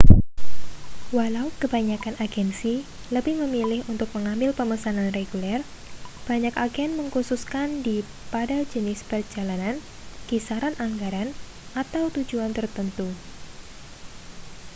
walau kebanyakan agensi lebih memilih untuk mengambil pemesanan reguler banyak agen mengkhususkan dii pada jenis perjalanan kisaran anggaran atau tujuan tertentu